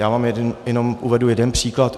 Já vám jenom uvedu jeden příklad.